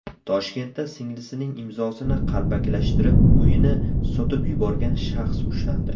Toshkentda singlisining imzosini qalbakilashtirib, uyini sotib yuborgan shaxs ushlandi.